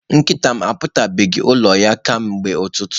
Nkịta m ahapụbeghị ụlọ ya kemgbe ụtụtụ.